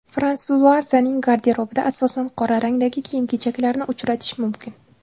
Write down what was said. Fransuazaning garderobida asosan qora rangdagi kiyim-kechaklarni uchratish mumkin.